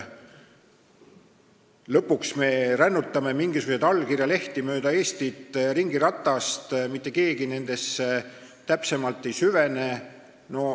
Lõpuks me rännutame mingisuguseid allkirjalehti mööda Eestit ringiratast ja mitte keegi nendesse täpsemalt ei süvene.